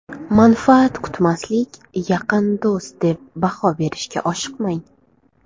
Manfaat kutmaslik Yaqin do‘st deb baho berishga oshiqmang.